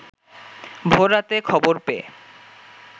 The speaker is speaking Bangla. ভোর রাতে খবর পেয়ে